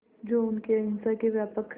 जो उनके अहिंसा के व्यापक